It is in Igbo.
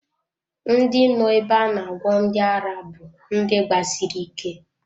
Ndị nọ ebe a na-agwọ ndi ara bú ndị gbasiri ike